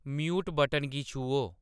mute button गी छूहो